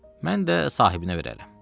Mən də sahibinə verərəm.